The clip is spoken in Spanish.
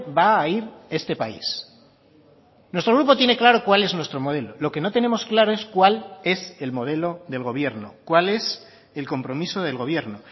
va a ir este país nuestro grupo tiene claro cuál es nuestro modelo lo que no tenemos claro es cuál es el modelo del gobierno cuál es el compromiso del gobierno